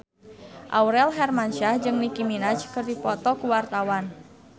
Aurel Hermansyah jeung Nicky Minaj keur dipoto ku wartawan